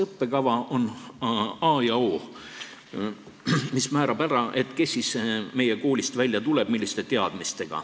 Õppekava on a ja o, mis määrab ära, kes ja milliste teadmistega meie koolist välja tuleb.